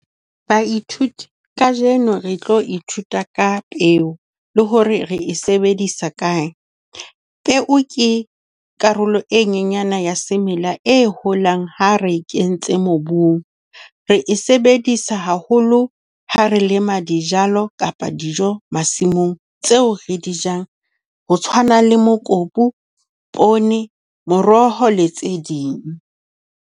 Baithuti kajeno re tlo ithuta ka peo le ho re re e sebedisa kae. Peo ke karolo e nyenyane ya semela e holang ha re e kentse mobung. Re e sebedisa haholo ha re lema dijalo kapa dijo masimong tseo re di jang ho tshwana le mokopu, poone, moroho le tse ding.